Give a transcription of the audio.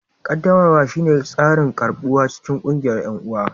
qaddamarwa shine tsarin karɓuwa cikin ƙungiyar 'yan'uwa